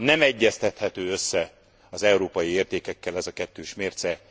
Nem egyeztethető össze az európai értékekkel ez a kettős mérce.